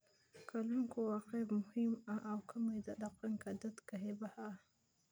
Kalluunku waa qayb muhiim ah oo ka mid ah dhaqanka dadka xeebaha ah.